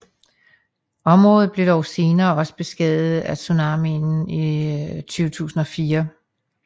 Området blev dog senere også beskadiget af tsunamien i 2004